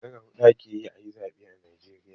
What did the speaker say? Skekara huɗu ake yi a yi zaɓe a najeriya.